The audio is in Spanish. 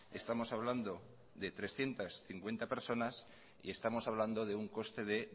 estamos hablando de trescientos cincuenta personas y estamos hablando de un coste de